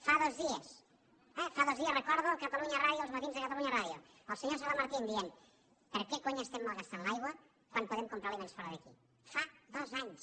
fa dos dies eh fa dos dies recordo a catalunya ràdio el matí de catalunya ràdiosala martín que deia per què cony estem malgastant l’aigua quan podem comprar aliments fora d’aquí fa dos anys